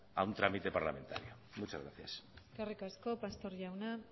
a un trámite parlamentario muchas gracias eskerrik asko pastor jauna